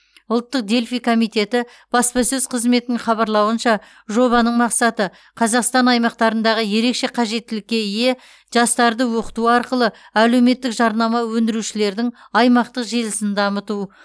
ұлттық дельфий комитеті баспасөз қызметінің хабарлауынша жобаның мақсаты қазақстан аймақтарындағы ерекше қажеттілікке ие жастарды оқыту арқылы әлеуметтік жарнама өндірушілердің аймақтық желісін дамыту